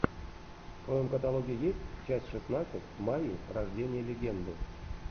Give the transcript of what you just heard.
в твоем каталоге есть часть шестнадцать майя рождение легенды